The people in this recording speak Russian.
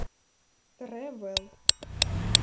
трэвэл